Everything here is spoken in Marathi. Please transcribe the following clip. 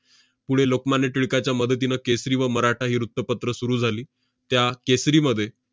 पुढे लोकमान्य टिळकाच्या मदतीनं केसरी व मराठा ही वृत्तपत्रं सुरु झाली. त्या केसरीमध्ये